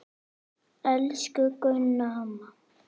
Elsku Gunna amma.